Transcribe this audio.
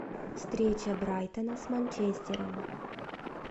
встреча брайтона с манчестером